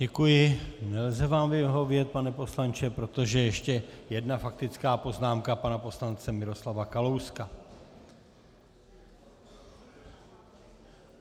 Děkuji, nelze vám vyhovět, pane poslanče, protože ještě jedna faktická poznámka pana poslance Miroslava Kalouska.